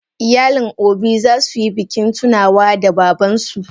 Iyalin obi zasuyi bikin tunawa da babansu.